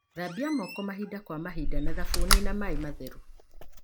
Thambia moko mahinda kwa mahinda na thabuni na maĩ matheru.